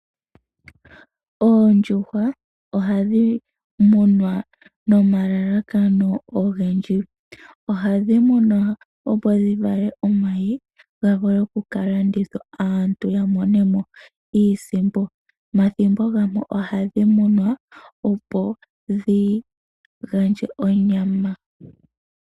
Oondjuhwa ohadhi munwa nomalalakano ogendji. Ohadhi munwa opo dhi vale omayi, ga vule okuka landithwa, opo aantu ya mone mo iisimpo. Omathimbo gamwe ohadhi munwa, opo dhi gandje onyama.